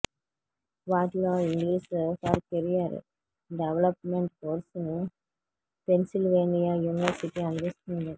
వాటిలో English for career development కోర్సును Pennsylvania university అందిస్తోంది